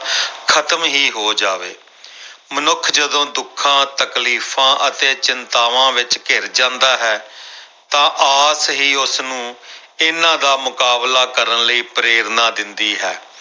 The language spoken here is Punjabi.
ਖ਼ਤਮ ਹੀ ਹੋ ਜਾਵੇ ਮਨੁੱਖ ਜਦੋਂ ਦੁੱਖਾਂ ਤਕਲੀਫ਼ਾਂ ਅਤੇ ਚਿੰਤਾਵਾਂ ਵਿੱਚ ਘਿਰ ਜਾਂਦਾ ਹੈ ਤਾਂ ਆਸ ਹੀ ਉਸਨੂੰ ਇਹਨਾਂ ਦਾ ਮੁਕਾਬਲਾ ਕਰਨ ਲਈ ਪ੍ਰੇਰਨਾ ਦਿੰਦੀ ਹੈ।